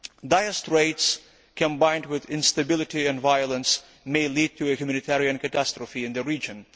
Dire straits, combined with instability and violence, may lead to a humanitarian catastrophe in the region.